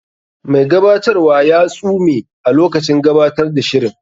Mai gabatarwa ya tsume a lokacin gabatar da shirin.